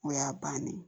O y'a bannen ye